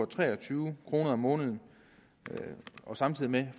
tre og tyve kroner om måneden samtidig med